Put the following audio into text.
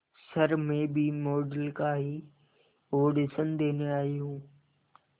sir मैं भी model का ही ऑडिशन देने आई हूं